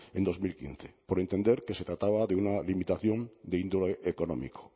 en dos mil quince por entender que se trataba de una limitación de índole económico